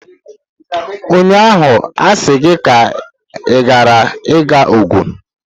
Ụnyaahụ asị gị ka ịghara ịga Ogun!